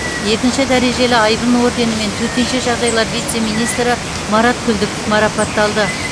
екінші дәрежелі айбын орденімен төтенше жағдайлар вице министрі марат күлдіков марапатталды